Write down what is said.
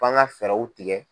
F'anga fɛɛrɛw tigɛ.